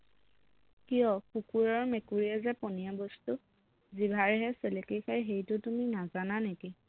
কিয় কুকুৰ আৰু মেকুৰীয়ে যে পনীয়া বস্তু জিভাৰেহে চেলেকি খায় সেইটো তুমি নাজানা নেকি